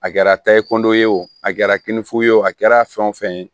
A kɛra tayi kundo ye wo a kɛra kinifo ye o a kɛra fɛn o fɛn ye